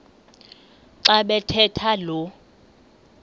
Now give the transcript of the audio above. xa bathetha lo